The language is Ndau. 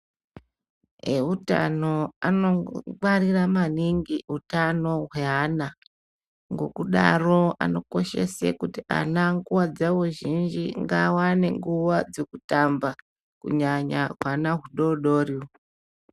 Ehutano ano ngwarira maningi utano hwe ana ngekudaro ano koshesa kuti ana nguva zhinji ngaa wane nguva dzeku tamba kunyanya hwana hudodoro uhu.